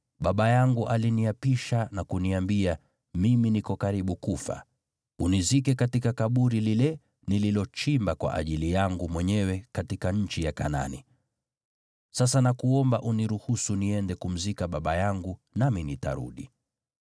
‘Baba yangu aliniapisha na kuniambia, “Mimi niko karibu kufa; unizike katika kaburi lile nililochimba kwa ajili yangu mwenyewe katika nchi ya Kanaani.” Sasa nakuomba uniruhusu niende kumzika baba yangu, nami nitarudi.’ ”